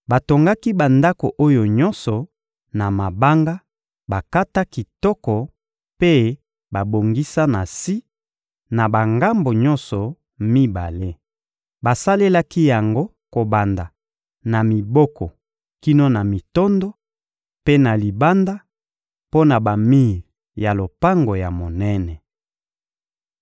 Batongaki bandako oyo nyonso na mabanga bakata kitoko mpe babongisa na si na bangambo nyonso mibale. Basalelaki yango kobanda na miboko kino na mitondo, mpe na libanda, mpo na bamir ya lopango ya monene.